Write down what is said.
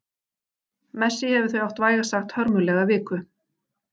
Messi hefur því átt vægast sagt hörmulega viku.